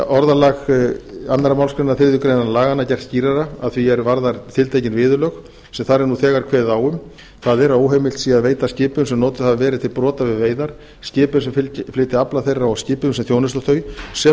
orðalag annarri málsgrein þriðju grein laganna er gert skýrara að því er varðar tiltekin viðurlög sem þar er nú þegar kveðið á um það er að óheimilt sé að veita skipum sem notuð hafa verið til brota við veiðar skipum sem flytja afla þeirra og skipum sem þjónusta þau sem og